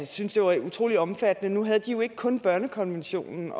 synes det var utrolig omfattende nu havde de jo ikke kun børnekonventionen